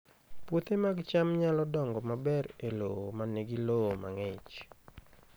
Puothe mag cham nyalo dongo maber e lowo ma nigi lowo mang'ich